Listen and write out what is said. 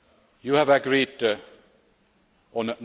in September. You